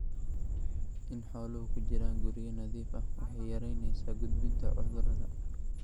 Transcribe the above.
In xooluhu ku jiraan guryo nadiif ah waxay yaraynaysaa gudbinta cudurada.